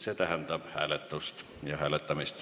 See tähendab hääletust.